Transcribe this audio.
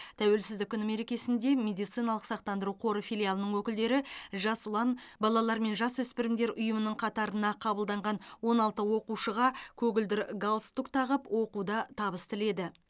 тәуелсіздік күні мерекесінде медициналық сақтандыру қоры филиалының өкілдері жас ұлан балалар мен жасөспірімдер ұйымының қатарына қабылданған он алты оқушыға көгілдір галстук тағып оқуда табыс тіледі